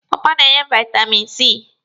Pọọpọọ na-enye vaitamini C.